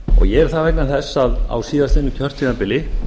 ég er það vegna þess að á síðastliðnum kjörtímabili